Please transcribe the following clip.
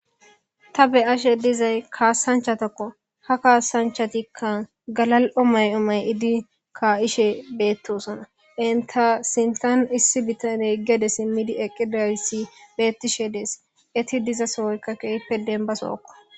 Tha be7ashe dizay kaasanchathakko; ha kaasanchathikka galal7o mayo may7idi ka7ishe beeththoosona; enththa sinththan issi bithaney gede simmidi eqqidayssi beeththishe dees; ethi diza sohoykka keehippe denbba sohokko.